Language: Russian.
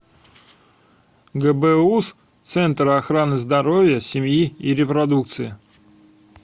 гбуз центр охраны здоровья семьи и репродукции